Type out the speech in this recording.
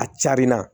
A carin na